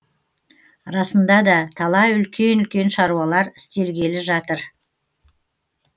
расында да талай үлкен үлкен шаруалар істелгелі жатыр